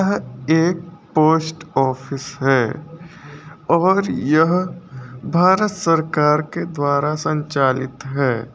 यह एक post office है और यह भारत सरकार के द्वारा संचालित है।